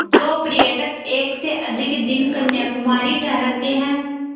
जो पर्यटक एक से अधिक दिन कन्याकुमारी ठहरते हैं